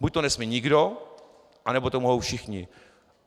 Buď to nesmí nikdo, anebo to mohou všichni.